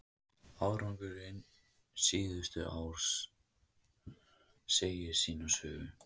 Árangurinn síðustu ár segir sína sögu.